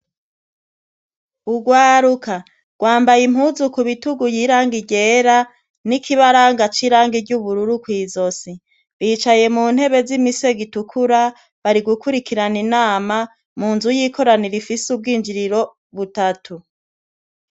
Urwaruka rwambaye impuzu k'ubitugu y'irangi ryera , n'ikibaranga c'irangi ry'ubururu kw'izosi. Bicaye mu ntebe z'imisego itukura, bari gukurikirana inama, mu nzu y'ikoraniro ifise ubwinjiriro butatu.